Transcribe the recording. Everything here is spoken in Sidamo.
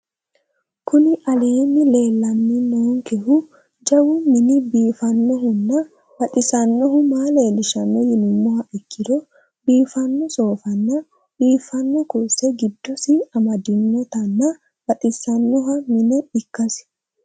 Kuni aleeni leelaninonikehu jawu mini biifanohuna baxisanohu maa leelishano yinumaha ikiro biifano soofana biifano kurise gidosi amadinotana baxisano minne ikasi